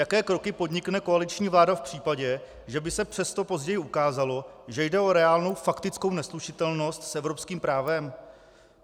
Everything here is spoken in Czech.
Jaké kroky podnikne koaliční vláda v případě, že by se přesto později ukázalo, že jde o reálnou faktickou neslučitelnost s evropským právem?